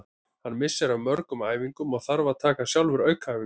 Hann missir af mörgum æfingum og þarf að taka sjálfur aukaæfingar.